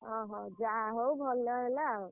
ଅହ ଯାହା ହଉ ଭଲ ହେଲା ଆଉ।